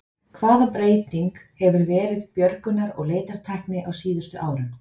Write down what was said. Hvaða breyting hefur verið björgunar- og leitartækni á síðustu árum?